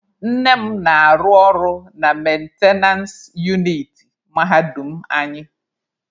Nne m na-arụ ọrụ na mentenance uniti mahadum anyị.